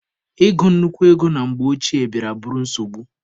Ị gụ nnukwu ego na mgbe ochie bịara bụrụ nsogbu.